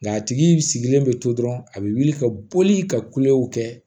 Nka a tigi sigilen bɛ to dɔrɔn a bɛ wuli ka boli ka kulew kɛ